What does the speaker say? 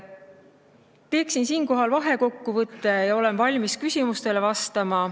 Teen siinkohal vahekokkuvõtte ja olen valmis küsimustele vastama.